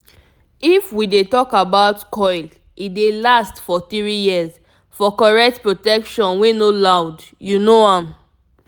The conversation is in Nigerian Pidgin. if we dey talk about coil e dey last for 3yrs for correct protection wey no loud u know am